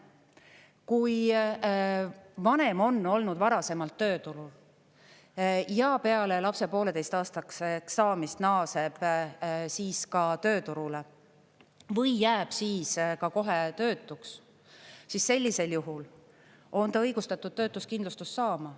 Kui vanem on olnud varasemalt tööturul ja peale lapse poolteiseaastaseks saamist naaseb tööturule või jääb siis ka kohe töötuks, siis sellisel juhul on ta õigustatud töötuskindlustust saama.